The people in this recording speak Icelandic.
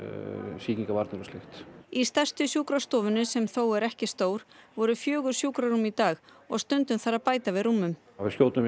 sýkingavarnir og slíkt í stærstu sjúkrastofunni sem þó er ekki stór voru fjögur sjúkrarúm í dag og stundum þarf að bæta við rúmum við skjótum